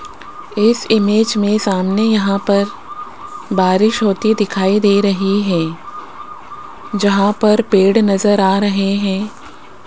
इस इमेज में सामने यहां पर बारिश होती दिखाई दे रही है जहां पर पेड़ नजर आ रहे हैं।